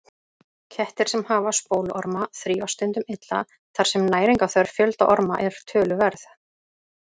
Kettir sem hafa spóluorma þrífast stundum illa þar sem næringarþörf fjölda orma er töluverð.